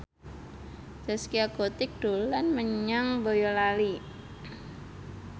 Zaskia Gotik dolan menyang Boyolali